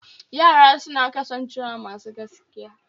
Yara suna kasancewa masu gaskiya